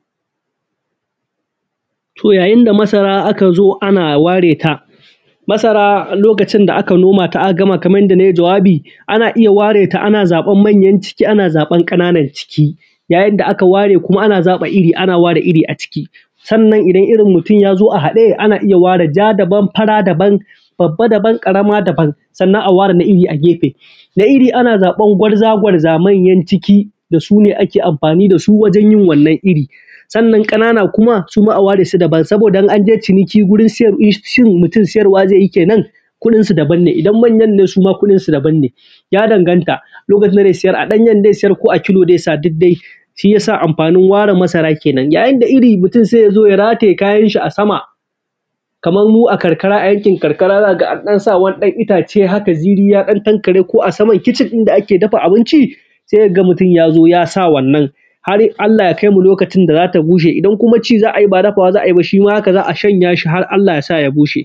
To yayin da masara aka zo ana ware ta masara lokacin da ka a noma ta da aka gama kamar yadda na yi jawabi. Ana iya ware ta ana zaban ƙananan ciki, yayin da aka ware ana iri a ciki. Sannan idan irin mutum ya zo a haɗe ana iya ware ja daban fara daban babba daban ƙarama daban sannan a ware na iri a gefe. Na iri ana zaɓan gwarza-gwarza manyan ciki da su ne ake amfani da su wajen yin wannan irin. Sannan ƙanana kuma a ware. Su daban, saboda in an je ciniki mutun in shirin sayarwa kudinsu daban ne. Idan manyan ne ma kuɗinsu daban ne ya danganta a ɗanyen zai sayar ko a kilo zai sa duk dai. Shi ya sa amfanin ware masara kenan. Yayin da iri sai mutum zai rataye kayan sa a sama, kamar mu a karkara a yankin karkara za ka ga an ɗan sa wani ɗan itace ziri ya dan tankare a sama kicin inda ake dafa abinci sai ka ga mutum ya zo ya sa wannan har Allah ya kaimu lokacin da za ta bushe. Idan kuma ci za a yi ba dafa wa za a ji ba shi ma haka za a shanya shi har Allah ya sa ya bushe.